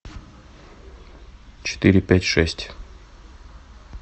четыре пять шесть